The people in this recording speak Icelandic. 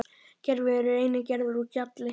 Gervigígar eru einnig gerðir úr gjalli.